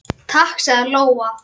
Takk, sagði Lóa.